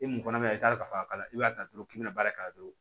I mun fana bɛ yan i t'a dɔn ka fɔ k'a b'a ta dɔrɔn k'i bɛna baara k'a la dɔrɔn